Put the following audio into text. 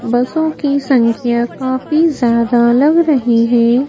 बसों की संख्या काफी ज्यादा लग रही है।